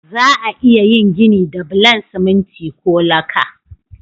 Za'a iya yin gini da bulan siminti ko laka.